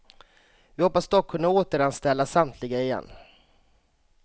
Vi hoppas dock kunna återanställa samtliga igen.